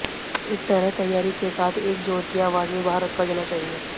इस तरह तैयारी के साथ एक ज़ोर की आवाज़ में बाहर रखा जाना चाहिए